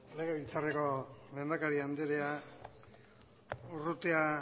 legebiltzarreko lehendakari anderea urrutia